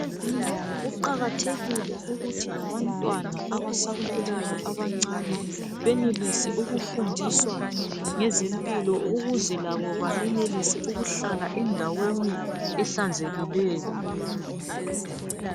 Kuqakathekile ukuthi labantwana abasakhulayo abancane benelise ukufundiswa ngezempilo. ukuze labo benelise ukuhlala endaweni ehlanzekileyo.